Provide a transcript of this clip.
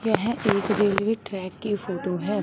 यह एक railway track की फोटो है।